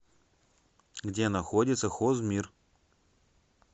где находится хозмир